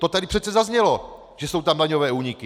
To tady přece zaznělo, že jsou tam daňové úniky.